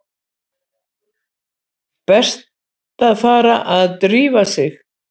Best að fara að drífa sig.